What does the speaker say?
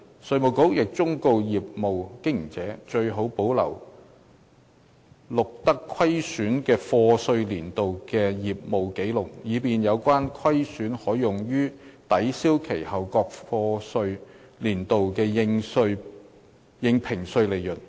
稅務局亦忠告業務經營者，最好保留錄得虧損的課稅年度的業務紀錄，以便有關虧損可用於抵銷其後各課稅年度的應評稅利潤。